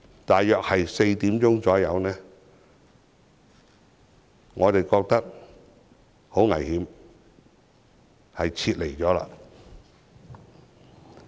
大約下午4時，我們覺得很危險，於是撤離。